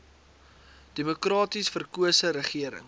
demokraties verkose regering